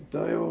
Então, eu...